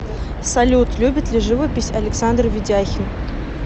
салют любит ли живопись александр ведяхин